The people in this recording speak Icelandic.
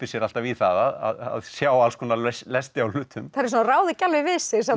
sér alltaf í það að sjá alls konar lesti á hlutum eins og hann ráði ekki alveg við sig